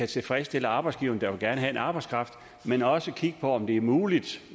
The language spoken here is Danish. tilfredsstille arbejdsgiverne der gerne vil have arbejdskraft men også kigge på om det er muligt